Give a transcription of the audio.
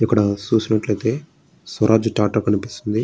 ఇక్కడ చూసినట్లయితే స్వరాజ్ టాటా కనిపిస్తుంది.